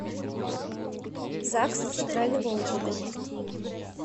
загс центрального округа